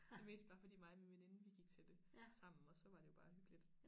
Det mest bare fordi mig og min veninde vi gik til det sammen og så var det jo bare hyggeligt